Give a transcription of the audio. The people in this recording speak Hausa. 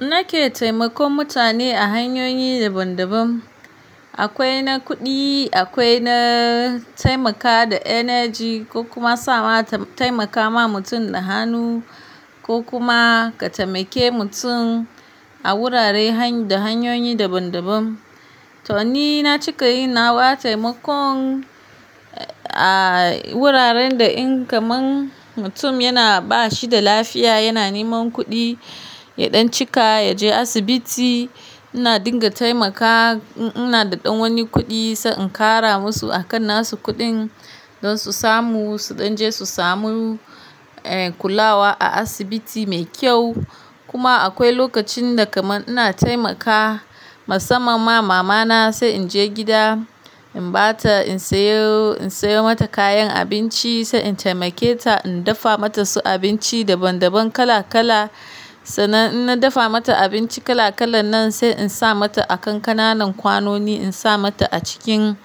Nake taimakon mutane a hanyoyi daban-daban. Akwai na kuɗi, akwai na taimaka da energy ko kuma sa'a taimaka ma mutum da hannu ko kuma ka taimake mutum a wurare da hanyoyi daban-daban. To ni na cika yin na wa taimakon a wuraren da in kaman mutum yana ba shi da lafiya, yana niman kuɗi, ya ɗan cika, ya je asibiti. Ina dinga taimaka, ina da ɗan wani kuɗi sai in kara musu a kan na su kuɗin don su samu, su ɗan je su samu, eh, kulawa a asibiti mai kyau. Kuma akwai lokacin da kaman ina taimaka, musamman ma mama na sai in je gida, in ba ta in sayo, in sayo mata kayan abinci sai in taimake ta, in dafa mata su abinci daban-daban kala-kala. Sannan in na dafa mata abinci kala-kalan nan sai in sa mata a kankananan kwanoni, in sa mata a cikin